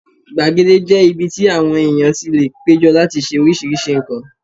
Gbàgede jẹ́ ibi tí àwọn èèyàn tí lè péjọ láti ṣe oríṣiríṣi nǹkan